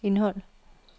indhold